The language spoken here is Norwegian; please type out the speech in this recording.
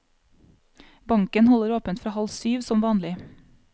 Banken holder åpent fra halv syv, som vanlig.